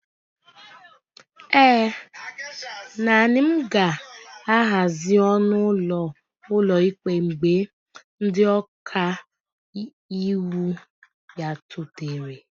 ee, naanị m ga-ahazi ọnụ ụlọ ụlọikpe mgbe ndị ọka iwu bịarutere